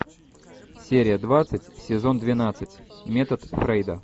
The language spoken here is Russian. серия двадцать сезон двенадцать метод фрейда